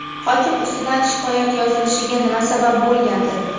Hokim ustidan shikoyat yozilishiga nima sabab bo‘lgandi?.